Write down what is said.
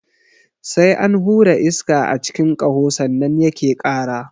Sai an hura iska a cikin ƙaho sannan yake ƙara.